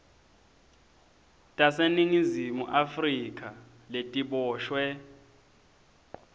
taseningizimu afrika letiboshwe